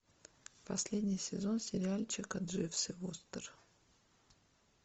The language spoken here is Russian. последний сезон сериальчика дживс и вустер